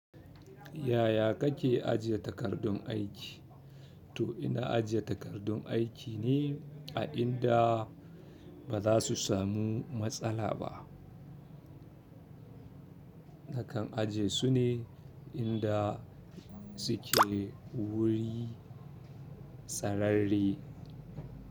Yaya kake ajiye takardun aiki? To ina ajiye takardun aiki ne a inda bazasu samu matsala ba. Nakan ajiye su ne inda suke wuri tsararre.